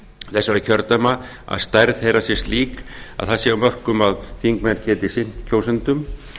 þessara kjördæma að stærð þeirra sé slík að það sé á mörkunum að þingmenn geti sinnt kjósendum